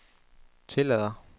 tillader